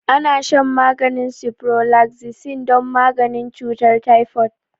Ana shan maganin ciprofloxacin don maganin cutar typhoid